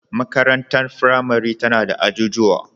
Makarantar firamare tana da ajujuwa.